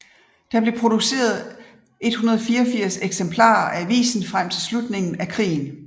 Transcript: Der blev produceret 184 eksemplarer af avisen frem til slutningen af krigen